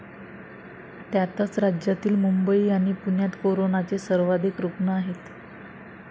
त्यातच राज्यातील मुंबई आणि पुण्यात कोरोनाचे सर्वाधिक रुग्ण आहेत.